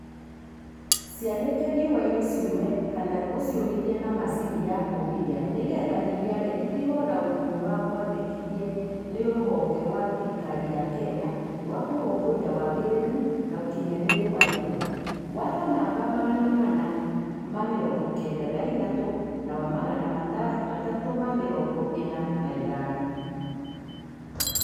Cianĩke riũa-inĩ ciũme kana ũciũmithie na macini ya kũmithia nĩgetha iniare itigo na ũgunyu ũrĩa mwendekithie nĩ rũhonge rwa thirikari ya Kenya rwa Kũrũmbũiya wagĩrĩru na ukinyanĩru wa indo (Watho namba magana mana ma mĩrongo kenda na ithatatũ na wa magana matatũ ma mĩrongo ĩna na ithano).